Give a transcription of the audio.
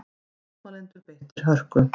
Mótmælendur beittir hörku